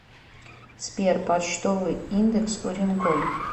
сбер почтовый индекс уренгой